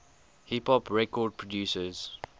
hip hop record producers